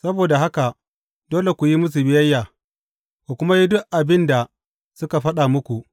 Saboda haka dole ku yi musu biyayya, ku kuma yi duk abin da suka faɗa muku.